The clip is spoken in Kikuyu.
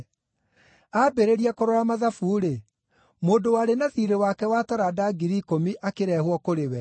Aambĩrĩria kũrora mathabu-rĩ, mũndũ warĩ na thiirĩ wake wa taranda ngiri ikũmi akĩrehwo kũrĩ we.